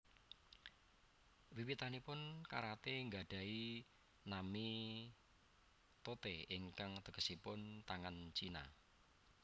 Wiwitanipun karaté nggadhahi nami Tote ingkang tegesipun tangan China